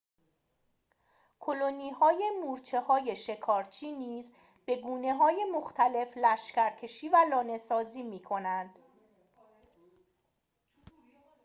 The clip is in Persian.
کلونی‌های مورچه‌های شکارچی نیز به گونه‌های مختلف لشکرکشی و لانه‌سازی می‌کنند